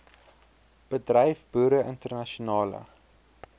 bedryf boere internasionale